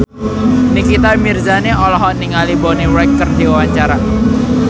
Nikita Mirzani olohok ningali Bonnie Wright keur diwawancara